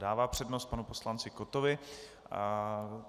Dává přednost panu poslanci Kottovi.